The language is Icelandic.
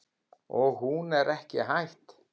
Og hún er ekki hætt.